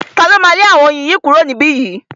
Ta ló máa lé àwọn oyin yìí kúrò ní ibí yìí?